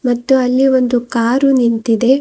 ಮತ್ತು ಅಲ್ಲಿ ಒಂದು ಕಾರು ನಿಂತಿದೆ.